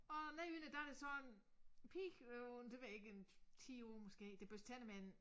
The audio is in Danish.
Og nedenunder der er der så en pige på det ved jeg ikke 10 år måske der børster tænder med en